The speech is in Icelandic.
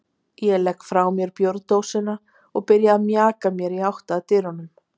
Ég legg frá mér bjórdósina og byrja að mjaka mér í átt að dyrunum.